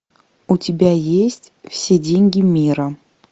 у тебя есть все деньги мира